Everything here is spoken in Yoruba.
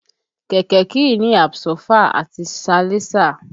Kẹ̀kẹ́ kìí ní àbsọ́fà àti salẹńsà